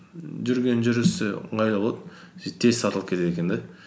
жүрген жүрісі ыңғайлы болады сөйтіп тез сатылып кетеді екен де